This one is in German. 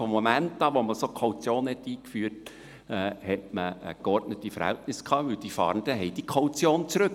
Von dem Moment an, als man eine Kaution einführte, hatte man geordnete Verhältnisse, denn die Fahrenden wollten diese Kaution zurück.